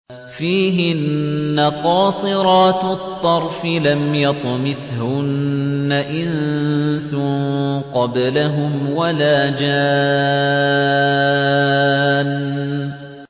فِيهِنَّ قَاصِرَاتُ الطَّرْفِ لَمْ يَطْمِثْهُنَّ إِنسٌ قَبْلَهُمْ وَلَا جَانٌّ